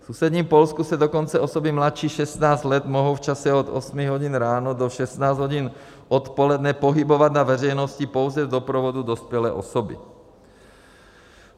V sousedním Polsku se dokonce osoby mladší 16 let mohou v čase od 8 hodin ráno do 16 hodin odpoledne pohybovat na veřejnosti pouze v doprovodu dospělé osoby.